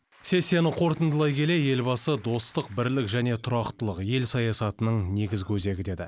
сессияны қорытындылай келе елбасы достық бірлік және тұрақтылық ел саясатының негізі өзегі деді